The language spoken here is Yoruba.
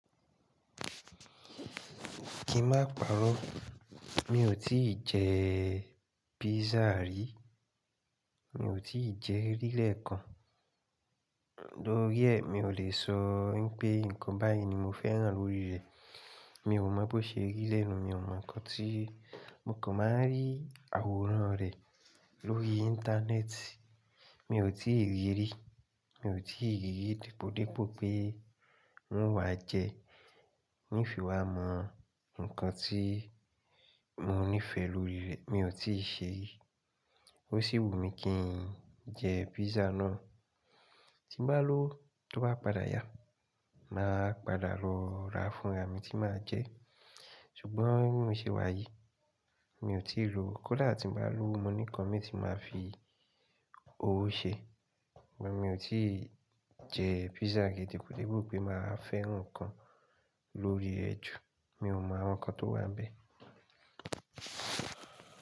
Kí má parọ́, mi ò tí jẹ pizza rí. Mi ò tí ì jẹ rí lẹ́ kan. Lórí ẹ̀, mi ò lè sọ wípé ǹkan báyìí ni mo fẹ́ràn lórí rẹ̀. Mi ò mọ̀ bó ṣe rí lẹ́nu, mi ò mọ ǹkan tí mo kàn má rí àwòrán rẹ̀ lórí íńtánẹ́ẹ̀tì. Mi ò tí ì rírí, mi ò tí ì rí dìpò pé ń wá jẹẹ́. N fiwámọ̀ ǹkan tí mo nífẹ̀ẹ́ lórí rẹ̀, mi ò tí ṣe ri. Ó ṣì wù mí kí n jẹ pizza náà. Tí n bá lówo tó bá padà yá, màá padà lọ ra fúnra mi tí màá jẹ. Ṣùgbọ́n bí mọ̀ ṣe wáyi, mi ò tí ì lowo. Kódà tí n bá lówo mo ní ǹkan mi tí màá fi ówo ṣe. Ṣùgbọ́n mi ò tí ì jẹ pizza gidi debi pé màá fẹ́ràn ǹkan lórí rẹ ju. Mi ò mọ àwọn ǹkan tó wà n bẹ.